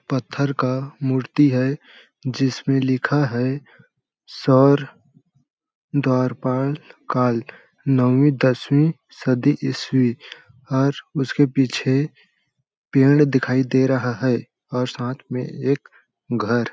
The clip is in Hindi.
पत्थर का मूर्ति है जिसमें लिखा है सौर द्वारपाल काल नौवीं दसवीं सदी ईसवी और उसके पीछे पेड़ दिखाई दे रहा है और साथ में एक घर।